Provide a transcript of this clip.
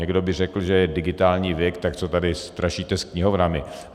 Někdo by řekl, že je digitální věk, tak co tady strašíte s knihovnami.